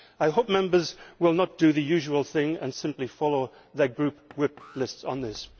I hope Members will not do the usual thing and simply follow their group whip lists on this.